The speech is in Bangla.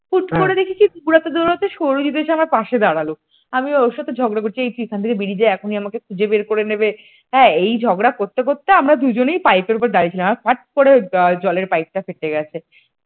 হুট করে দেখি কি দৌড়াতে দৌড়াতে সৌরজিৎ এসে আমার পাশে দাঁড়ালো আমি ওর সাথে ঝগড়া করছি এই তুই এখান থেকে বেরিয়ে যায় এখনই আমাকে খুঁজে বের করে নেবে হ্যাঁ এই ঝগড়া করতে করতে দুজনেই আমরা পাইপের উপর দাঁড়িয়ে ছিলাম আর ফাট করে জলের পাইপটা ফেটে গেছে।